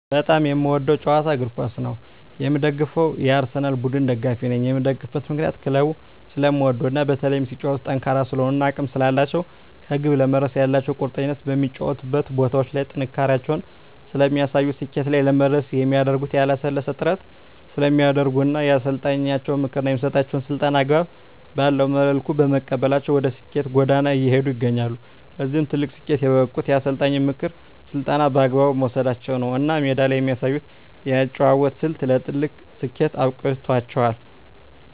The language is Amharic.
በጣም የምወደዉ ጨዋታ እግርኳስ ነዉ የምደግፈዉም የአርሰላን ቡድን ደጋፊ ነኝ የምደግፍበት ምክንያት ክለቡን ስለምወደዉ እና በተለይም ሲጫወቱም ጠንካራ ስለሆኑ እና አቅም ስላላቸዉ ከግብ ለመድረስ ያላቸዉ ቁርጠኝነት በሚጫወቱባቸዉ ቦታዎች ላይ ጥንካሬያቸውን ስለሚያሳዩ ስኬት ላይ ለመድረስ የሚያደርጉት ያላለሰለሰ ጥረት ስለሚያደርጉ እና የአሰልጣኛቸዉን ምክር እና የሚሰጣቸዉን ስልጠና አግባብ ባለዉ መልኩ በመቀበላቸዉ ወደ ስኬት ጎዳና እየሄዱ ይገኛሉ ለዚህ ትልቅ ስኬት የበቁት የአሰልጣኝን ምክርና ስልጠና በአግባቡ መዉሰዳቸዉ ነዉ እና ሜዳ ላይ የሚያሳዩት የአጨዋወት ስልት ለትልቅ ስኬት አብቅቷቸዋል